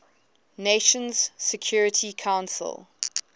nations security council